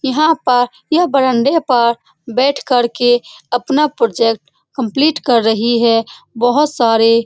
यहाँ पर यह बरामदा पर बैठ कर के अपना प्रोजेक्ट कम्पलीट कर रही है बहुत सारे --